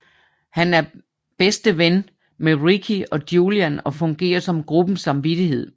Han er bedste ven med Ricky og Julian og fungerer som gruppens samvittighed